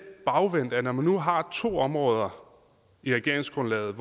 bagvendt at når man nu har to områder i regeringsgrundlaget